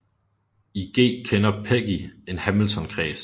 I G kender Peggy en hamiltonkreds